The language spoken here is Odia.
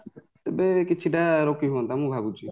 ତେବେ କିଛି ରୋକିହୁଅନ୍ତା ମୁଁ ଭାବୁଛି